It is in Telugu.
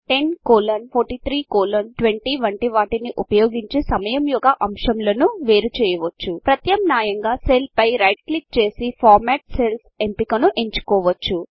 10 కోలన్ 43 కోలన్ 20 వంటి వాటిని ఉపయోగించి సమయము యొక్క అంశములను వేరు చేయవచ్చు ప్రత్యామ్నాయంగా సెల్ పై రైట్ క్లిక్ చేసి ఫార్మాట్ cellsఫార్మ్యాట్ సెల్స్ఎంపికను ఎంచుకోవచ్చు